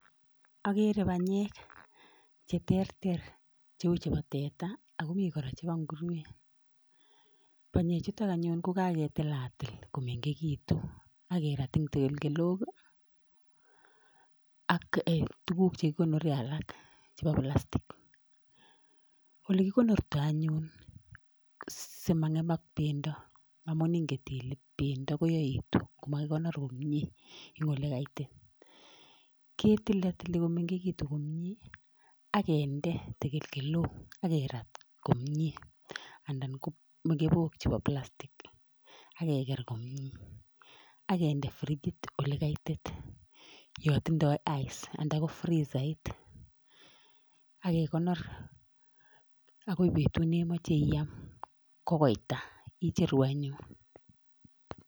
Agere banyek che teeter, cheu chebo teta ak komi kora chebo nguruonik. Banyechutok anyun ko kaketilatil, komeng'ekitun ak keraat en tekelkelok ak tuguuk alak chekikonoreen. Olekikonortoi anyun simangemak bendoo Amin ingen Ile bendoo koyaituu kot makikonoor komie en olekaitit, ketilootiloo komengekitun komie ak kinde tekelkelok ak kerat komie anan ko kornok chebo plastik ak keger komie. Ak kinde frichit olekaitit yon tindoi ice, anan ko frizait ak kekonoor ak koi betut nemoche iyaam ko koita icheru anyun.